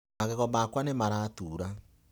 Magego makwa nĩ Maratura.